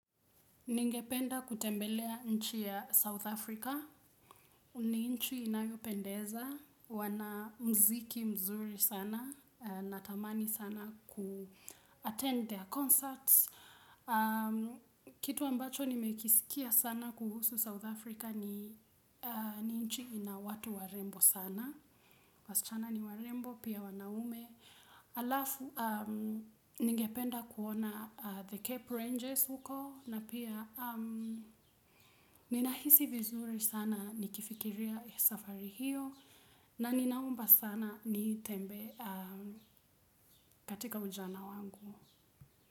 Ningependa kutembelea nchi ya South Africa, ni nchi inayopendeza, wana mziki mzuri sana, natamani sana ku-attend their concerts. Kitu ambacho nimekisikia sana kuhusu South Africa ni ni nchi ina watu warembo sana, wasichana ni warembo, pia wanaume. Alafu ningependa kuona the Cape Rangers huko na pia ninahisi vizuri sana nikifikiria safari hiyo na ninaomba sana nitembee katika ujana wangu.